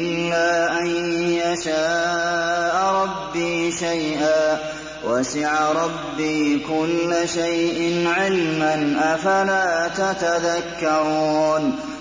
إِلَّا أَن يَشَاءَ رَبِّي شَيْئًا ۗ وَسِعَ رَبِّي كُلَّ شَيْءٍ عِلْمًا ۗ أَفَلَا تَتَذَكَّرُونَ